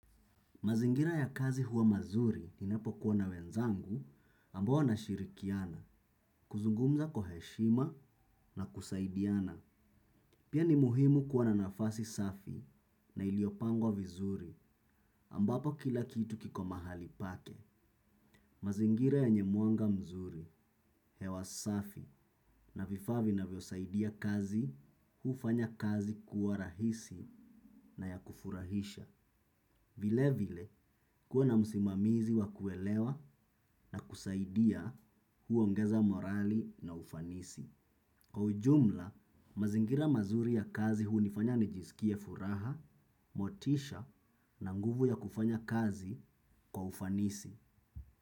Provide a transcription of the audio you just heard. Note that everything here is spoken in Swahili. Mazingira ya kazi huwa mazuri ninapo kuwa na wenzangu ambao nashirikiana, kuzungumza kwa heshima na kusaidiana. Pia ni muhimu kuwa na nafasi safi na iliopangwa vizuri ambapo kila kitu kiko mahali pake. Mazingira yenye mwanga mzuri hewa safi na vifaa vinavyo saidia kazi huufanya kazi kuwa rahisi na ya kufurahisha. Vile vile kuwa na musimamizi wa kuelewa na kusaidia huongeza morali na ufanisi. Kwa ujumla, mazingira mazuri ya kazi hunifanya nijisikie furaha, motisha na nguvu ya kufanya kazi kwa ufanisi.